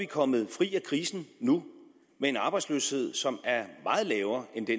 kommet fri af krisen med en arbejdsløshed som er meget lavere end den